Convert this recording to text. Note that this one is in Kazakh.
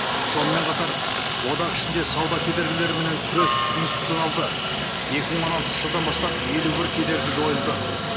сонымен қатар одақ ішінде сауда кедергілеріменен күрес институционалды екі мың он алтыншы жылдан бастап елу бір кедергі жойылды